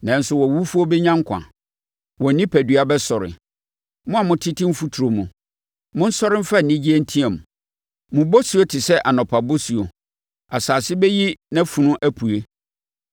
Nanso wʼawufoɔ bɛnya nkwa; wɔn onipadua bɛsɔre. Mo a motete mfuturo mu, monsɔre mfa anigyeɛ nteam. Mo bosuo te sɛ anɔpa bosuo; asase bɛyi nʼafunu apue.